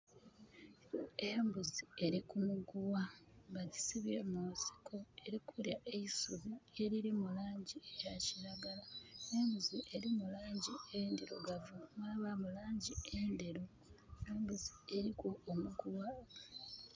Embuzi eri kumuguwa. Bagisibye munsiko eri kulya eisubi erili mulangi eya kiragala. Embuzi erimu langi endirugavu mwabamu langi enderu. Embuzi eriku omuguwa